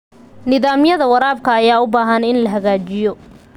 Nidaamyada waraabka ayaa u baahan in la hagaajiyo.